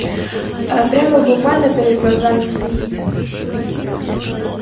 прямо буквально перед глазами стоит